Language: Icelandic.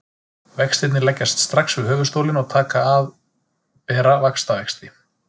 Vextirnir leggjast strax við höfuðstólinn og taka að bera vaxtavexti.